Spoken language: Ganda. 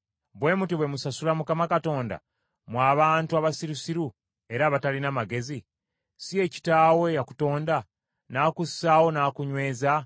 Bwe mutyo bwe musasula Mukama Katonda, mmwe abantu abasirusiru era abatalina magezi? Si ye kitaawo eyakutonda, n’akussaawo n’akunyweza?